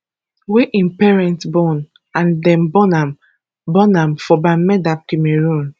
wey im parent born and dem born am born am for bamenda cameroon